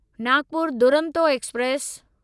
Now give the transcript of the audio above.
Nagpur Duronto express